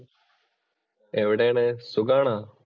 എവിടെയാണ്? സുഖാണോ?